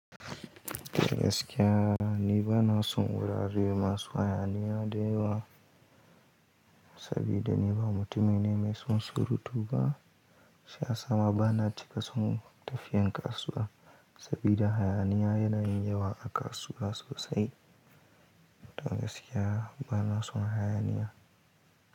To gaskiya ni ba na son wurare masu hayaniya da yawa sabida ni ba mutumi ne mai son surutu ba. Shiyasa ma ba na cika son tafiyan kasuwa sabida hayaniya yana yin yawa a kasuwa sosai. Tagas ke ha ba na son hayaniya.